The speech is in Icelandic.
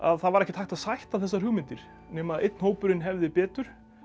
það var ekkert hægt að sætta þessar hugmyndir nema einn hópurinn hefði betur